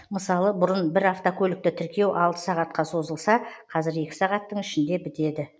мысалы бұрын бір автокөлікті тіркеу алты сағатқа созылса қазір екі сағаттың ішінде бітеді